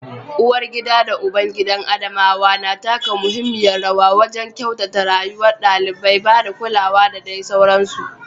Uwargida da ubangidan Adamawa na taka muhimmiyar rawa wajen kyautata rayuwar ɗalibai, ba da kulawa da dai sauransu.